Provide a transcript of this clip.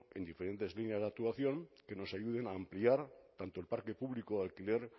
en diferentes líneas de actuación que nos ayuden a ampliar tanto el parque público de alquiler